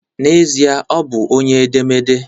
N'ezie, ọ bụ onye edemede